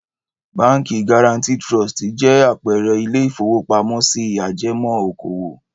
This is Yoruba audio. Báńkì Guaranty Trust jẹ́ àpẹẹrẹ ilé-ìfowópamọ́sí ajẹmọ́ okòwò.